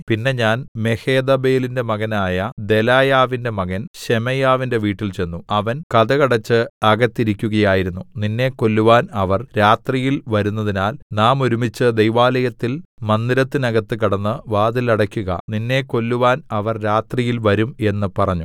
പിന്നെ ഞാൻ മെഹേതബേലിന്റെ മകനായ ദെലായാവിന്റെ മകൻ ശെമയ്യാവിന്റെ വീട്ടിൽ ചെന്നു അവൻ കതകടച്ച് അകത്തിരിക്കയായിരുന്നു നിന്നെ കൊല്ലുവാൻ അവർ രാ‍ത്രിയിൽ വരുന്നതിനാൽ നാം ഒരുമിച്ച് ദൈവാലയത്തിൽ മന്ദിരത്തിനകത്ത് കടന്ന് വാതിൽ അടയ്ക്കുക നിന്നെ കൊല്ലുവാൻ അവർ രാത്രിയിൽ വരും എന്ന് പറഞ്ഞു